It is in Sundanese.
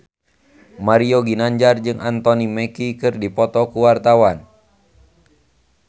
Mario Ginanjar jeung Anthony Mackie keur dipoto ku wartawan